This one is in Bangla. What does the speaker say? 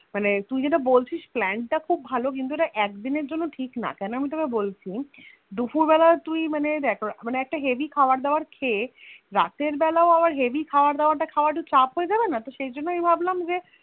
মানে তুই যেটা বলছিস যে Plan টা খুব ভালো কিন্তু ইটা একদিনের জন্যে ঠিক না আমি তোকে বলছি দুফুর বেলা টুডে একটা Heavy খাবার দাবার খেয়ে রাতের বেলায় আবার Heavy খাবার দাবার খাওয়া তা একটু চাপ হয়েযাবেনা সেই জন্যেই ভাবলাম যে